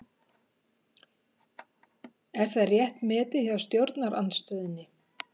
Er það rétt metið hjá stjórnarandstöðunni?